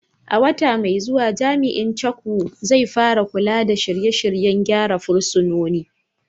A wata mai zuwa, Jami’in Chukwu, zai fara kula da shirye-shiryen gyara fursunonin.